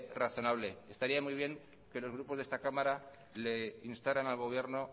razonable estaría muy bien que los grupos de esta cámara le instaran al gobierno